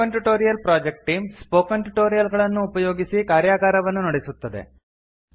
spoken tutorial project team spoken tutorial ಗಳನ್ನು ಉಪಯೋಗಿಸಿ ಕಾರ್ಯಗಾರವನ್ನು ನಡೆಸುತ್ತದೆ